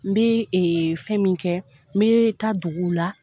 N bɛ fɛn min kɛ n me taa duguw la.